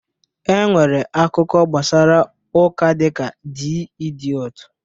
E nwere akụkọ gbasara ụka dịka D Idiọt